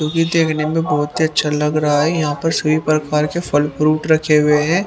जोकि देखने में बहुत ही अच्छा लग रहा है यहां पर सभी प्रकार के फल फ्रूट रखे हुए हैं।